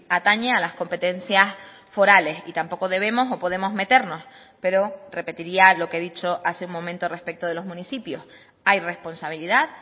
atañe a las competencias forales y tampoco debemos o podemos meternos pero repetiría lo que he dicho hace un momento respecto de los municipios hay responsabilidad